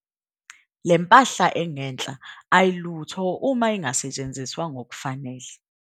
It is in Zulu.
Le mpahla engenhla ayilutho uma ingasetshenziswa ngokufanelekile.